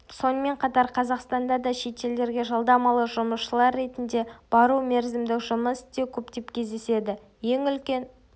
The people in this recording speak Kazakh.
сонымен қатар қазақстанда да шетелдерге жалдамалы жұмысшылар ретінде бару мерзімдік жұмыс істеу көптеп кездеседі ең үлкен